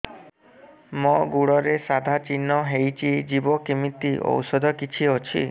ମୋ ଗୁଡ଼ରେ ସାଧା ଚିହ୍ନ ହେଇଚି ଯିବ କେମିତି ଔଷଧ କିଛି ଅଛି